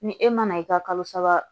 Ni e mana i ka kalo saba